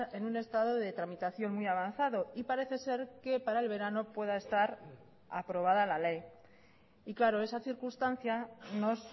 en un estado de tramitación muy avanzado y parece ser que para el verano pueda estar aprobada la ley y claro esa circunstancia nos